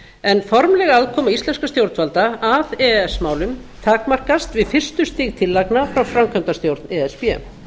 en formleg aðkoma íslenskra stjórnvalda að á málum takmarkast við fyrstu stig tillagna frá framkvæmdastjórn e s b